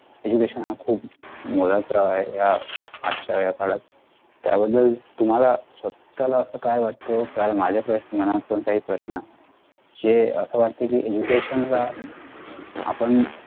education हा खूप मोलाचा आहे या आजच्या या काळात. त्या बद्दल तुम्हाला स्वतःला असा काय वाटत कारण माझ्या पण मनात पण काही प्रश्न आहेत जे अस वाटतंय कि education आपण